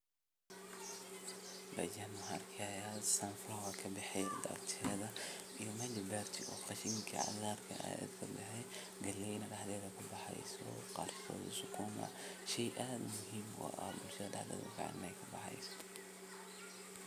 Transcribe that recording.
Dhulka ayaa la nadiifinayaa, lagana saarayo cawska, qoryaha iyo dhirta kale ee carqaladeyn karta koritaanka dalagga cusub. Waxaa sidoo kale dhici karta in dhulka la qodayo ama la rogayo si loo jebiyo ciidda loogana dhigo mid jilicsan si ay biyuhu ugu dhex milmaan si habboon.